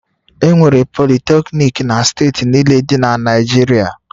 Enwere Politecnik na steeti niile dị na Naịjirịa